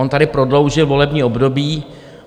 On tady prodloužil volební období.